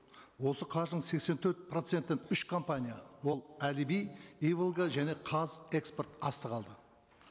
осы қаржының сексен төрт процентін үш компания ол әліби иволга және қазэкспортастық алды